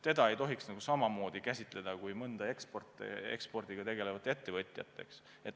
Teda ei tohiks käsitleda samamoodi kui mõnda ekspordiga tegelevat ettevõtjat.